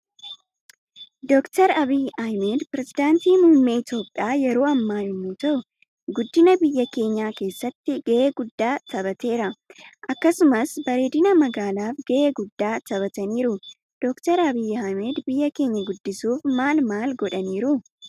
Doktar abiy ahimed perezidaantii muummee iitoophiya yeroo ammaa yommuu ta'u guddina biyya keenyaa keessatti gahe gudda tabateera akkasumas bareedina magaalaf gahee guddaa tabataniiru. Doktar abiy ahimed biyya keenya guddisuuf maal maal godhaniiru?